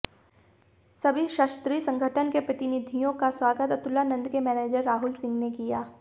सभी क्षत्रिय संगठन के प्रतिनिधियों का स्वागत अतुलानंद के मैनेजर राहुल सिंह ने किया